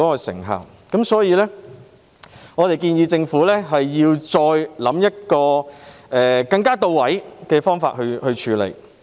所以，我們建議政府再構思更到位的方法處理問題。